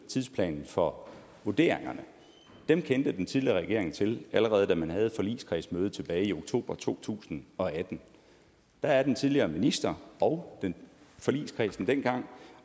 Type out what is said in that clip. tidsplanen for vurderingerne kendte den tidligere regering til allerede da man havde et forligskredsmøde tilbage i oktober to tusind og atten der er den tidligere minister og forligskredsen dengang